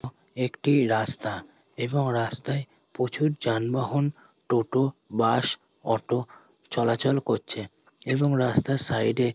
একটি রাস্তা এবং রাস্তায় প্রচুর যানবাহন টোটো বাস অটো চলাচল করছে এবং রাস্তার সাইডে --